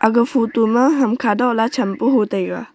ag photo ma hamkha dola champu hotaiga.